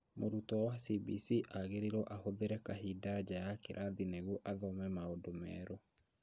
Mũrutwo wa CBC agĩrĩirwo ahũthire kahinda nja ya kĩrathi nĩguo athome maũndũ merũ